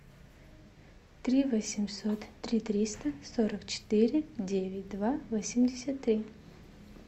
три восемьсот три триста сорок четыре девять два восемьдесят три